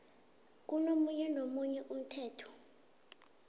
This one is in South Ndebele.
komunye nomunye umthetho